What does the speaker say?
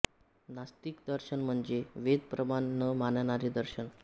नास्तिक दर्शन म्हणजे वेद प्रमाण न मानणारे दर्शन